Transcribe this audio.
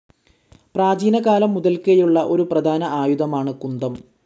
പ്രാചീനകാലം മുതൽക്കേയുള്ള ഒരു പ്രധാന ആയുധമാണ് കുന്തം.